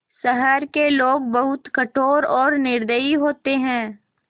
शहर के लोग बहुत कठोर और निर्दयी होते हैं